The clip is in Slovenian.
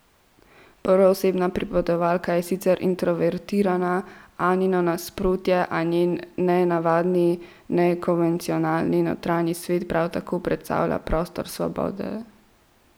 Prvoosebna pripovedovalka je sicer introvertirana, Anino nasprotje, a njen nenavadni, nekonvencionalni notranji svet prav tako predstavlja prostor svobode.